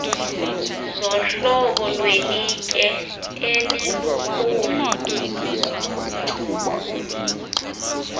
zohlobo lwelitye elilukhuni